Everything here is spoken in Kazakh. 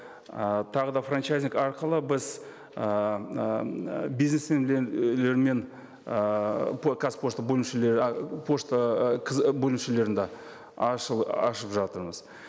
ы тағы да франчайзинг арқылы біз ыыы ыыы қазпошта бөлімшелер а пошта ы кз бөлімшелерін де ашып жатырмыз